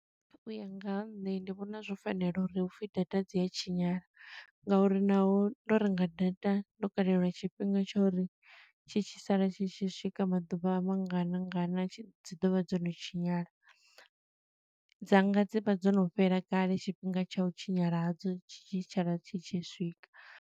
U ya nga ha nṋe ndi vhona zwo fanela uri hu pfi data dzi a tshinyala, nga uri naho ndo renga data, ndo kalelwa tshifhinga tsha uri tshi tshi sala tshi tshi swika maḓuvha mangana ngana dzi ḓovha dzo no tshinyala. Dzanga dzi vha dzo no fhela kale, tshifhinga tsha u tshinyala hadzo tshi tshi tshala tshi tshi swika.